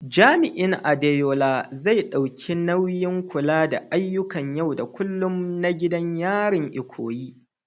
Jami’in Adeola, zai ɗauki nauyin kula da ayyukan yau da kullum na gidan yarin Ikoyi.